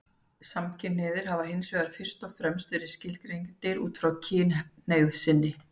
Samkynhneigðir hafa hins vegar fyrst og fremst verið skilgreindir út frá kynhneigð sinni.